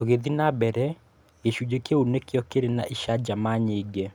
"Tũgithiĩ na mbere, gĩcunjĩ kĩu nĩkĩo kĩrĩ na icanjama nyingĩ.